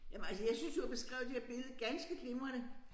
Jamen altså jeg synes du har beskrevet det her billede ganske glimrende